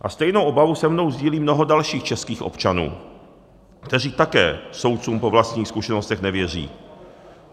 A stejnou obavu se mnou sdílí mnoho dalších českých občanů, kteří také soudcům po vlastních zkušenostech nevěří.